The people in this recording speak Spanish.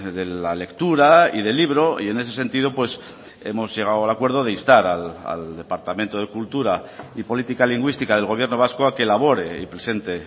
de la lectura y del libro y en ese sentido hemos llegado al acuerdo de instar al departamento de cultura y política lingüística del gobierno vasco a que elabore y presente